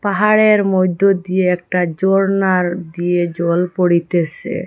পাহাড়ের মইধ্য দিয়ে একটা জর্না দিয়ে জল পড়িতেসে।